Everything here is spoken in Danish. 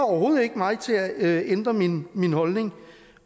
mig til at ændre min min holdning